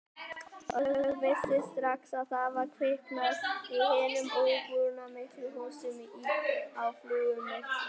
Og vissi strax að það var kviknað í hinum íburðarmiklu húsum á Flugumýri.